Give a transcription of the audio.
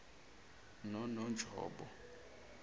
nononjobo